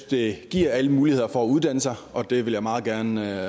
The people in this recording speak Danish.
det giver alle muligheder for at uddanne sig og det vil jeg meget gerne